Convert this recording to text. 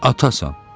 Atasan.